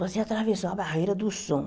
Você atravessou a barreira do som.